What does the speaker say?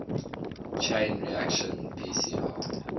chain reaction pcr